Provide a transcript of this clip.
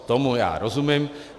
Tomu já rozumím.